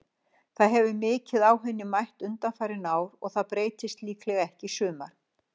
Það hefur mikið á henni mætt undanfarin ár og það breytist líklega ekki í sumar.